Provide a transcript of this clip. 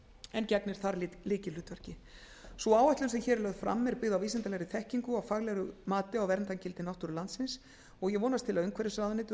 en gegnir þar lykilhlutverki sú áætlun sem hér er lögð fram er byggð á vísindalegri þekkingu og faglegu mati á verndargildi náttúru landsins og ég vonast til að umhverfisráðuneytið og